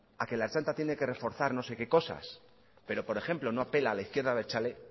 a que la ertzaintza tiene que reforzar no sé qué cosas pero por ejemplo no apela a la izquierda abertzale